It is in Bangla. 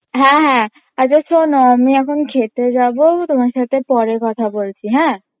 হ্যাঁ হ্যাঁ আচ্ছা শোনো আমি এখন খেতে যাবো তোমার সাথে পরে কথা বলছি হ্যাঁ